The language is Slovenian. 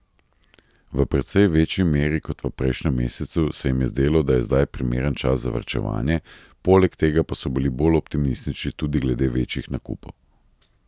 V precej večji meri kot v prejšnjem mesecu se jim je zdelo, da je zdaj primeren čas za varčevanje, poleg tega pa so bili bolj optimistični tudi glede večjih nakupov.